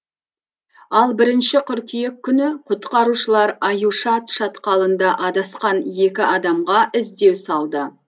ал бірінші қыркүйек күні құтқарушылар аюшат шатқалында адасқан екі адамға іздеу салды